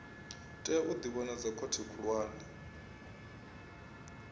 tea u ḓivhonadza khothe khulwane